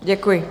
Děkuji.